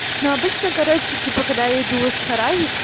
но обычно короче типа когда я иду в шараге